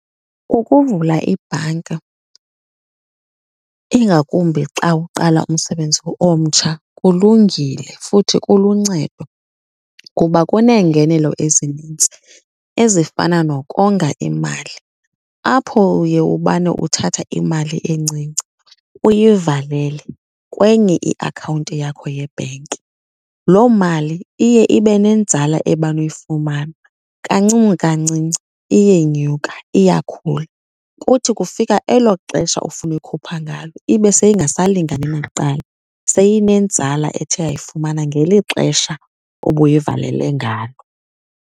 Ukuvula ibhanka ingakumbi xa uqala umsebenzi omtsha kulungile futhi kuluncedo kuba kuneengenelo ezinintsi ezifana nokonga imali, apho uye ubane uthatha imali encinci uyivalele kwenye iakhawunti yakho yebhenki. Loo mali iye ibe nenzala ebana uyifumana, kancinci kancinci iyenyuka iyakhula. Kuthi kufika elo xesha ofuna uyikhupha ngalo ibe seyingasalingani nakuqala, seyinenzala ethe yayifumana ngeli xesha obuyivalele ngalo.